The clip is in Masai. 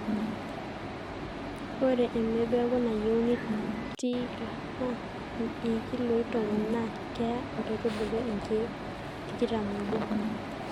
ore emebeku nayieuni te ika naa ilkiloi tomon naa keya nkaitubulu inkiek tikitam oobo